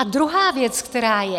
A druhá věc, která je.